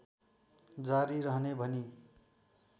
जारी रहने भनी